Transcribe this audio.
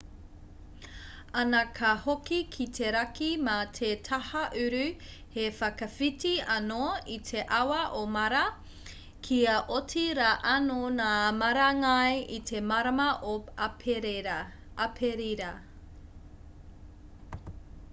ana ka hoki ki te raki mā te taha uru he whakawhiti anō i te awa o mara kia oti rā anō ngā marangai i te marama o aperira